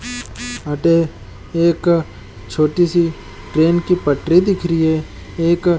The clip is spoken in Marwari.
अठ एक प्लेन छोटी सी ट्रेन की पटरी दिख रही है एक --